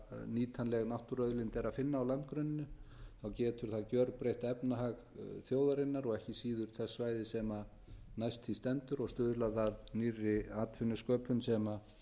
nýtanlega náttúruauðlind er að finna á landgrunninu getur það gjörbreytt efnahag þjóðarinnar og ekki síður þess svæðis sem næst því stendur og stuðlað að nýrri atvinnusköpun sem